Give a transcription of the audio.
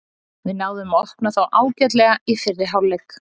Við náðum að opna þá ágætlega í fyrri hálfleik.